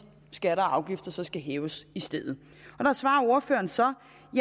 skatter og afgifter så skal hæves i stedet der svarer ordføreren så